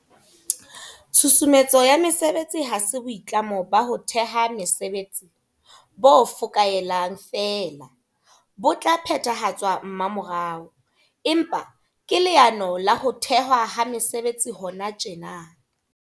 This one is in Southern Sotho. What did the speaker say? Tshusumetso ya mesebetsi ha se boitlamo ba ho theha mesebetsi bo fokaelang feela, bo tla phethahatswa mmamorao, empa ke leano la ho thehwa ha mesebetsi hona tjena.